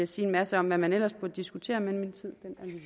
sige en masse om hvad man ellers burde diskutere men min tid